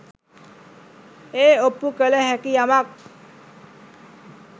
ඒ ඔප්පු කළ හැකි යමක්